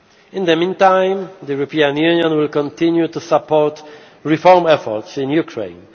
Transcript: In the meantime, the European Union will continue to support reform efforts in Ukraine.